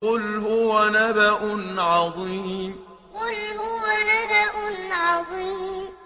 قُلْ هُوَ نَبَأٌ عَظِيمٌ قُلْ هُوَ نَبَأٌ عَظِيمٌ